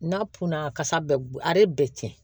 N'a kunna kasa bɛ a bɛɛ tiɲɛ